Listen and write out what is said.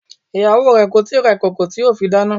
Ìyàwó re kò tíì ra ìkòkò tí yóò fi dáná.